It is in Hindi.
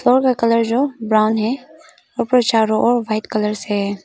कलर जो ब्राउन है ऊपर चारों ओर व्हाइट कलर से है।